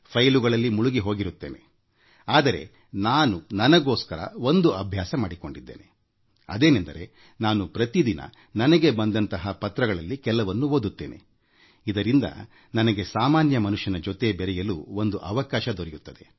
ಕಡತಗಳಲ್ಲಿ ಮುಳುಗಿ ಹೋಗಿರುತ್ತೇನೆ ಆದರೆ ನಾನು ನನಗೋಸ್ಕರ ಒಂದು ಅಭ್ಯಾಸ ಮಾಡಿಕೊಂಡಿದ್ದೇನೆ ಅದೇನೆಂದರೆ ನಾನು ಪ್ರತಿದಿನ ನನಗೆ ಬಂದಂತಹ ಪತ್ರಗಳಲ್ಲಿ ಕೆಲವನ್ನು ಓದುತ್ತೇನೆ ಇದರಿಂದ ನನಗೆ ಶ್ರೀಸಾಮಾನ್ಯರ ಜೊತೆ ಬೆರೆಯಲು ಒಂದು ಅವಕಾಶ ದೊರೆಯುತ್ತದೆ